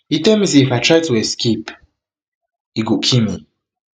e tell me say if i try to escape e go kill me